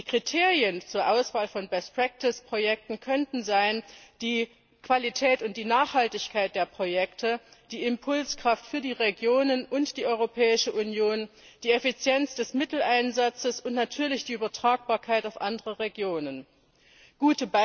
Kriterien zur Auswahl von best practice Projekten könnten die Qualität und die Nachhaltigkeit der Projekte, die Impulskraft für die Regionen und für die Europäische Union, die Effizienz des Mitteleinsatzes und natürlich die Übertragbarkeit auf andere Regionen sein.